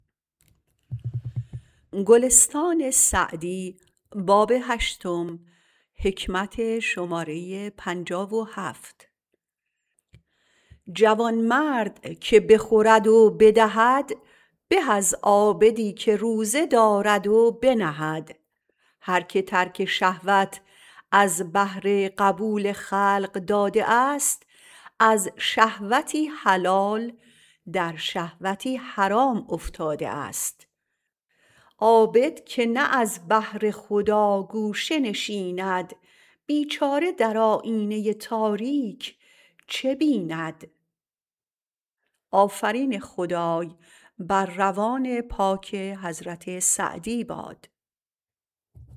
جوانمرد که بخورد و بدهد به از عابدی که روزه دارد و بنهد هر که ترک شهوات از بهر قبول خلق داده است از شهوتی حلال در شهوتی حرام افتاده است عابد که نه از بهر خدا گوشه نشیند بیچاره در آیینه تاریک چه بیند